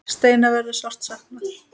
Steina verður sárt saknað.